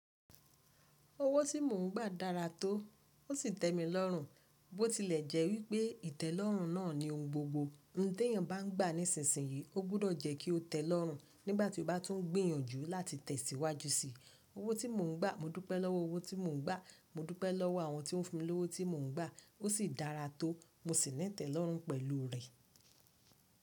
Owó tí mò ń gbà dára tó, ó sì tẹ́ mi lọ́rùn, bó tilẹ̀ jẹ́ wípé ìtẹ́lọ́rùn náà ni ohun gbogbo. Ohun t'éyàn bá ń gbà nísinsìnyí, ó gbúdọ̀ jẹ́ kí ó tẹ́ lọ́rùn nígbàtí ó bá tún ń gbìyànjú láti tẹ̀síwájú síi. Owó tí mò ń gbà, mo dúpẹ́ lọ́wọ́ owó tí mò ń gbà, mo dúpẹ́ lọ́wọ́ àwọn tí o ń fi mí lówó, tí mò ń gbà ó sì dára tó, mo sì ní ìtẹ́lọ́rùn pẹ̀lú rẹ.